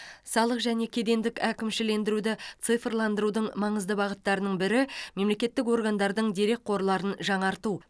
салық және кедендік әкімшілендіруді цифрландырудың маңызды бағыттарының бірі мемлекеттік органдардың дерекқорларын жаңарту